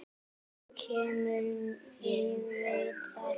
Þú kemur, ég veit það.